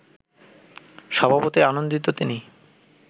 স্বভাবতই আনন্দিত তিনি